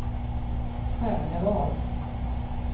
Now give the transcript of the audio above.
Själevad